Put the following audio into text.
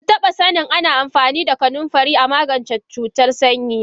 Bantaba sanin Ana amfani da kanunfari amagance cutar sanyi ba.